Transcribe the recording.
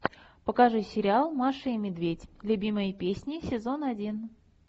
покажи сериал маша и медведь любимые песни сезон один